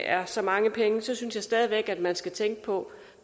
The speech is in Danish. er så mange penge synes jeg stadig væk man skal tænke på